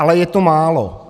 Ale je to málo.